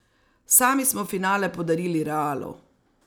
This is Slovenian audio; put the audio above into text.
Sami smo finale podarili Realu.